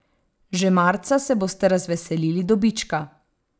Že marca se boste razveselili dobička.